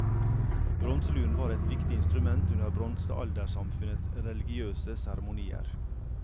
Bronseluren var et viktig instrument under bronsealdersamfunnets religiøse seremonier.